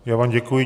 Já vám děkuji.